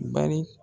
Bari